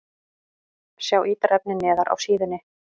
Sjá ítarefni neðar á síðunni